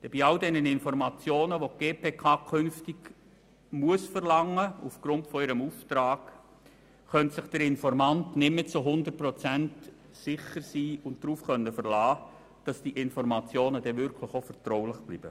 Bei all den Informationen, die die GPK künftig aufgrund ihres Auftrags verlangen muss, könnte sich der Informant nicht mehr zu 100 Prozent darauf verlassen, dass diese Informationen wirklich auch vertraulich bleiben.